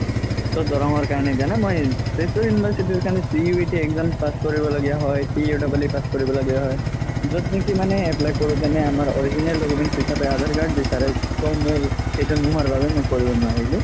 so দৰনং ৰ কাৰণে দিয়া নাই মই তেজপুৰ university ৰ কাৰণে exam পাচ কৰিব লগিয়া হয় পাচ কৰিব লগিয়া হয় য'ত নেকি মানে apply কৰো যেনে আমাৰ original documents হিচাপে আধাৰ card বিচাৰে so মোৰ সেইটো নুহুৱা কাৰণে মই কৰিব নোৱাৰিলো